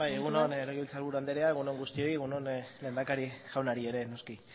zurea da hitza bai egun on legebiltzar buru anderea egun on guztioi egun on lehendakari jaunari ere noski